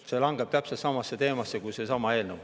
See kuulub täpselt samasse teemasse kui seesama eelnõu.